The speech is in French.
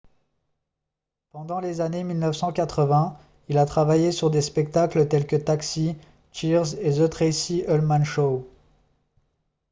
pendant les années 1980 il a travaillé sur des spectacles tels que taxi cheers et the tracy ullman show